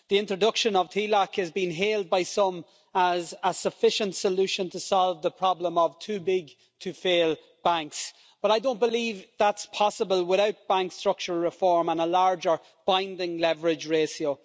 The introduction of TLAC has been hailed by some as a sufficient solution to solve the problem of too big to fail banks, but I don't believe that's possible without bank structural reform and a larger binding leverage ratio.